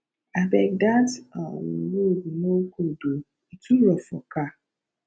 abeg dat um road no good o e too rough for car